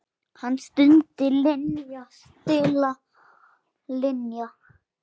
Hann stundi: Linja, litla Linja.